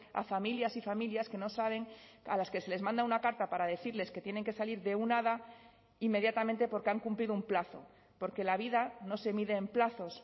a familias y familias que no saben a las que se les manda una carta para decirles que tienen que salir de una hada inmediatamente porque han cumplido un plazo porque la vida no se mide en plazos